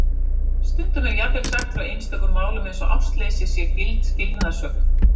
Stundum er jafnvel sagt frá einstökum málum eins og ástleysi sé gild skilnaðarsök.